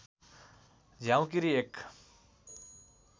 झ्याउँकीरी एक